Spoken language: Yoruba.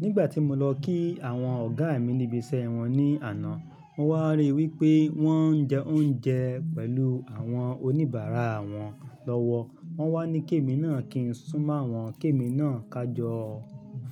Nígbà tí mo lọ kí àwọn ọ̀gá mi ní ibi iṣẹ́ wọn ní àná, mo wá rí wípé wón ń jẹ oúnjẹ pẹ̀lú àwọn oníbàárà wọn lọ́wọ́. Wọ́n wá ní ké mi náà kí n súnmọ́ àwọn ké mi náà ká jọ